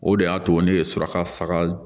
O de y'a to ne ye suraka faga